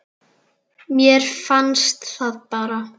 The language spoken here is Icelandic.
Mér fannst það bara.